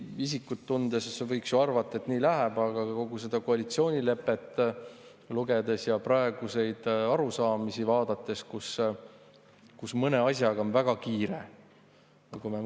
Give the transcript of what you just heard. Isikut tundes võiks ju arvata, et nii läheb, aga kui kogu seda koalitsioonilepet lugeda ja praegusi arusaamisi vaadata, kus mõne asjaga on väga kiire,.